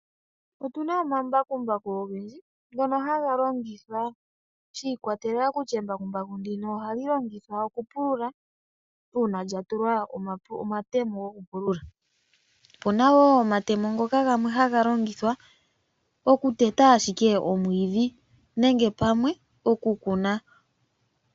Otuna omambakumbaku ogendji ngono haga longithwa shi ikwatelela kutya embakumbaku ndino ohali longithwa okupulula, uuna lya tulwa omatemo gokupulula. Opuna wo omatemo ngoka gamwe haga longithwa okuteta ashike oomwiidhi nenge pamwe okukuna.